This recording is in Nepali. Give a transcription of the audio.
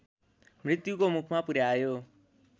मृत्युको मुखमा पुर्‍यायो